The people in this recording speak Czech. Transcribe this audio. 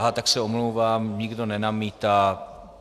Aha, tak se omlouvám, nikdo nenamítá.